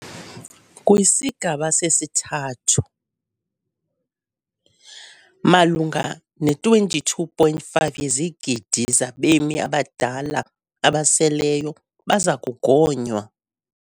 KwisiGaba sesiThathu, malunga ne-22.5 yezigidi zabemi abadala abaseleyo baza kugonywa.